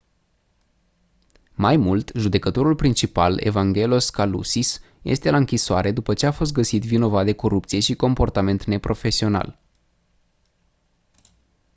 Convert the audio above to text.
mai mult judecătorul principal evangelos kalousis este la închisoare după ce a fost găsit vinovat de corupție și comportament neprofesional